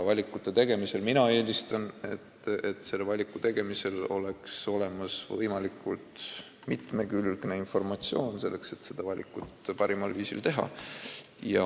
Mina eelistan, et valiku tegemiseks oleks olemas võimalikult mitmekülgne informatsioon, selleks et seda parimal viisil teha.